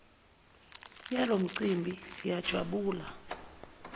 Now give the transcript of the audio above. yalo mcimbi siyajabula